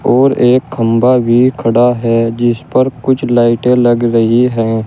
और एक खंभा भी खड़ा है जिस पर कुछ लाइटें लग रही है।